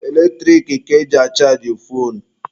Eletrik ka eji achajị foonu.